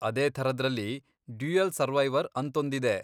ಅದೇ ಥರದ್ರಲ್ಲಿ ,dual survivor, ಅಂತೊಂದಿದೆ.